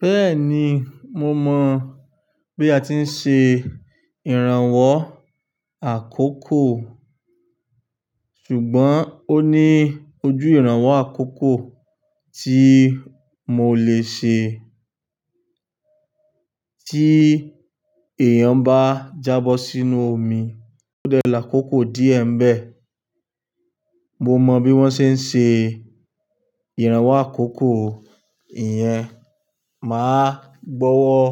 Bẹ́ẹ̀ni, mo mọ̀ bí a ti ń ṣe ìrànwọ́ àkókò. Ṣùgbọ́n ó ní ojú ìrànwọ́ àkókò tí mo lè ṣe. Tí èèyàn bá jábọ́ sínú omi, ó dẹrọ àkókò díẹ̀ ń bẹ. Mo mọ bí wọ́n ṣe ń ṣe ìrànwọ́ àkókò. Ìyẹn, màá gbọ́wọ́